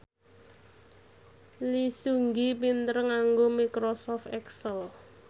Lee Seung Gi pinter nganggo microsoft excel